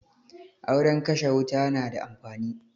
Auren kashe wuta na da amfani